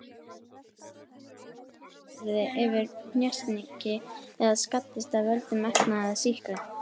Að þau hindri að húðin verði fyrir hnjaski eða skaddist af völdum efna eða sýkla.